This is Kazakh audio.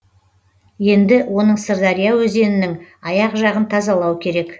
енді оның сырдария өзенінің аяқ жағын тазалау керек